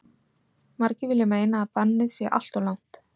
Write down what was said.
Margir vilja meina að bannið sé alltof langt.